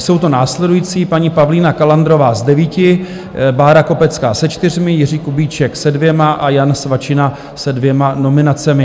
Jsou to následující: paní Pavlína Kalandrová s devíti, Bára Kopecká se čtyřmi, Jiří Kubíček se dvěma a Jan Svačina se dvěma nominacemi.